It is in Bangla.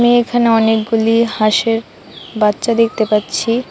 এখানে অনেকগুলি হাঁসের বাচ্চা দেখতে পাচ্ছি।